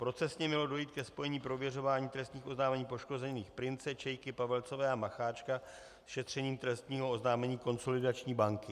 Procesně mělo dojít ke spojení prověřování trestních oznámení poškozených Prince, Čejky, Pavelcové a Macháčka s šetřením trestního oznámení Konsolidační banky.